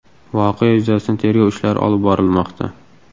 Voqea yuzasidan tergov ishlari olib borilmoqda.